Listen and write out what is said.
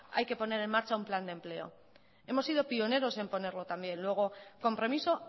hay que poner en marcha un plan de empleo hemos sido pioneros en ponerlo también luego compromiso